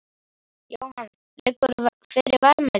Jóhann: Liggur fyrir verðmæti?